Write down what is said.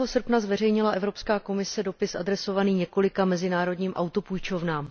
srpna zveřejnila Evropská komise dopis adresovaný několika mezinárodním autopůjčovnám.